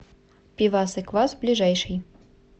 пивас и квас ближайший